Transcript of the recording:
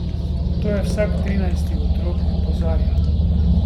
To je vsak trinajsti otrok, opozarja.